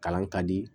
Kalan ka di